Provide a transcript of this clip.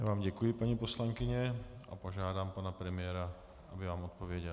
Já vám děkuji, paní poslankyně, a požádám pana premiéra, aby vám odpověděl.